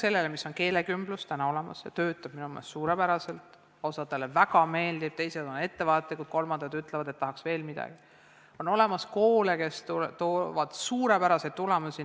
Peale keelekümbluse, mis on juba olemas ja toimib minu meelest hästi – osale väga meeldib, teised on ettevaatlikud, kolmandad ütlevad, et tahaks veel midagi –, on olemas koole, kes toovad suurepärased tulemusi.